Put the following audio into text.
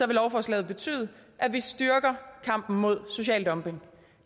vil lovforslaget betyde at vi styrker kampen imod social dumping